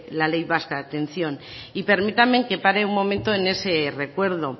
la ley vasca de atención y permítame que pare un momento en ese recuerdo